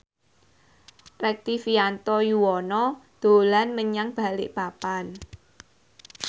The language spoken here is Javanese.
Rektivianto Yoewono dolan menyang Balikpapan